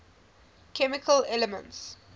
chemical elements